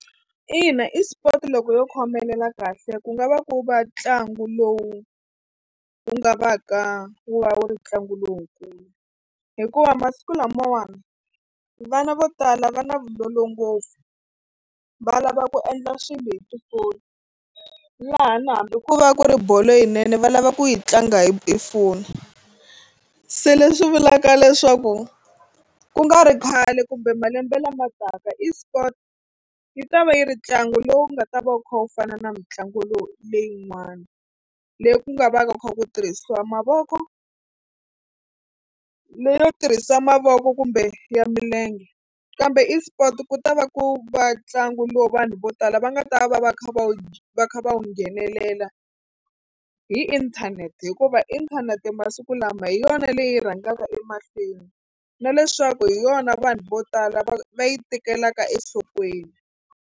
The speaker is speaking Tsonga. Ina eSport loko yo khomelela kahle ku nga va ku va ntlangu lowu wu nga va ka wu va wu ri ntlangu lowukulu hikuva masiku lamawani vana vo tala va na vulolo ngopfu va lava ku endla swilo hi tifoni laha na hambi ko va ku ri bolo yinene va lava ku yi tlanga hi foni se leswi vulaka leswaku ku nga ri khale kumbe malembe lama taka esport yi ta va yi ri ntlangu lowu nga ta va wu kha wu fana na mitlangu lowu leyin'wani leyi ku nga va ku kha ku tirhisiwa mavoko leyo tirhisa mavoko kumbe ya milenge kambe esport ku ta va ku va ntlangu lowu vanhu vo tala va nga ta va va va kha va wu va kha va wu nghenelela hi inthanete hikuva inthanete masiku lama hi yona leyi rhangaka emahlweni na leswaku hi yona vanhu vo tala va va yi tekelaka enhlokweni.